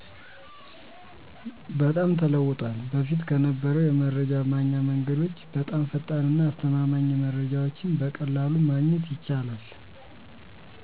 በጣም ተለውጧል። በፊት ከነበረው የመረጃ ማግኛ መንገዶች በጣም ፈጣንና አስተማማኝ መረጃወችን በቀላሉ ማግኘት ይቻላል።